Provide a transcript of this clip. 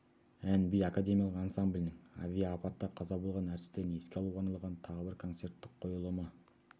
ән-би академиялық ансамблінің авиа апатта қаза болған әртістерін еске алуға арналған тағы бір концерттік қойылымы